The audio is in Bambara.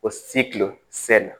Ko